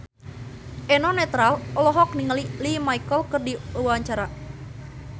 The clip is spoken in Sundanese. Eno Netral olohok ningali Lea Michele keur diwawancara